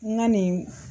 N ka nin